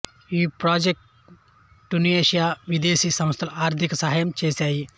ఈ project Tunisia విదేశీ సంస్థలు ఆర్థిక సహాయం చేసాయి